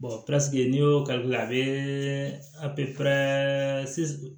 pisike n'i y'o kali a bɛɛ